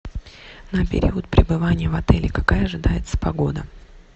на период пребывания в отеле какая ожидается погода